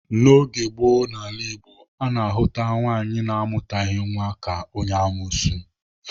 N'oge gboo n'ala Igbo, a na-ahụta nwaanyị na-amụtalighị nwa ka onye amuosu.